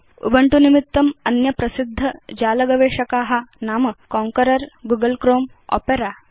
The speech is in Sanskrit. उबुन्तु निमित्तम् अन्य प्रसिद्ध जाल गवेषका नाम कॉन्करर गूगल क्रोमे ओपेर च